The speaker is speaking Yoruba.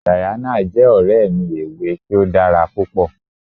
Diana jẹ́ ọ̀rẹ́ mi ẹ̀wé̀ tì o dára pupọ̀.